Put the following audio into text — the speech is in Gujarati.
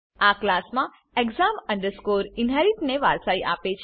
આ ક્લાસમા exam inherit ને વારસાઈ આપે છે